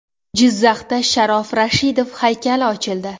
Jizzaxda Sharof Rashidov haykali ochildi .